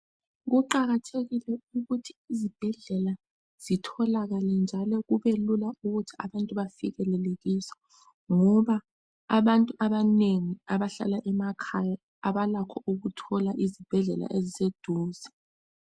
Kuqakathekile ukuthi izibhedlela zitholakale njalo kube lula ukuthi abantu befikelele kizo ngoba abantu abanengi abahlala emakhaya abalakho ukuthola izibhedlela eziseduze.